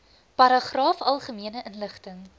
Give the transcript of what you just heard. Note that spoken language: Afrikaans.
paragraaf algemene inligting